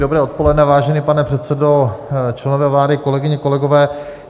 Dobré odpoledne, vážený pane předsedo, členové vlády, kolegyně, kolegové.